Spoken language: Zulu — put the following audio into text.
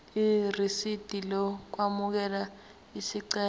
irisidi lokwamukela isicelo